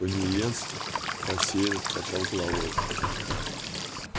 пониетс рассеянно покачал головой